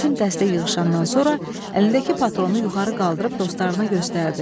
Bütün dəstə yığışandan sonra əlindəki patronu yuxarı qaldırıb dostlarına göstərdi.